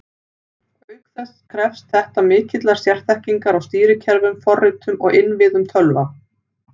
Auk þess krefst þetta mikillar sérþekkingar á stýrikerfum, forritum og innviðum tölva.